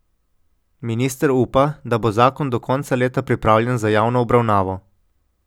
Minister upa, da bo zakon do konca leta pripravljen za javno obravnavo.